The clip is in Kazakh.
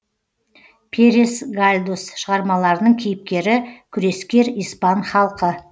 перес гальдос шығармаларының кейіпкері күрескер испан халқы